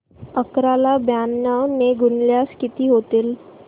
अकरा ला ब्याण्णव ने गुणल्यास किती होतील